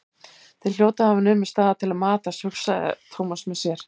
Þeir hljóta að hafa numið staðar til að matast, hugsaði Thomas með sér.